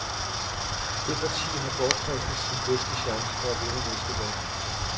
Det parti har bortkastet sin bedste chance for at vinde næste valg.